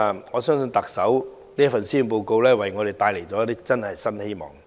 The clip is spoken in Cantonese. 我相信特首這份施政報告真的為我們帶來了一些新希望。